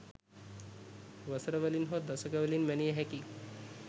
වසර වලින් හෝ දශක වලින් මැනිය හැකි